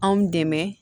Anw dɛmɛ